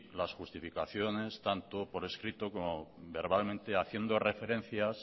las justificaciones tanto por escrito como verbalmente haciendo referencias